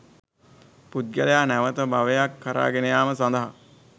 පුද්ගලයා නැවත භවයක් කරා ගෙන යාම සඳහා